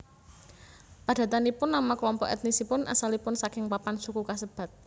Padatanipun nama kelompok ètnisipun asalipun saking papan suku kasebat